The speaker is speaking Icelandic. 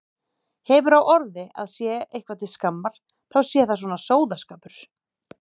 Hefur á orði að sé eitthvað til skammar þá sé það svona sóðaskapur.